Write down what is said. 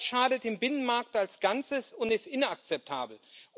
Das schadet dem Binnenmarkt als Ganzem und ist inakzeptabel.